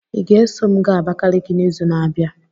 Ị ga-eso m gaa Abakiliki n'izu na-abịa?